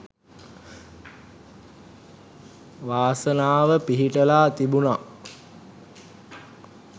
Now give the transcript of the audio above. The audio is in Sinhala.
වාසනාව පිහිටලා තිබුනා.